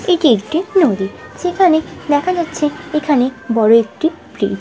এটি একটি নদী সেখানে দেখা যাচ্ছে এখানে বড়ো একটি ।]